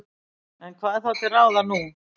En hvað er þá til ráða nú?